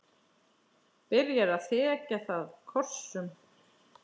Byrjar að þekja það kossum.